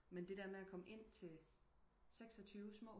Men det der med at komme ind til 26 små